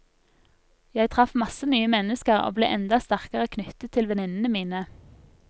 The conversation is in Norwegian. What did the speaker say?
Jeg traff masse nye mennesker og ble enda sterkere knyttet til venninnene mine.